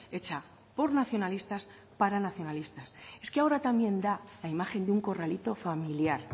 hecha por nacionalistas para nacionalistas es que ahora también da la imagen de un corralito familiar